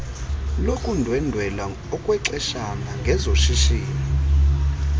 lokundwendela okwexeshana ngezoshishino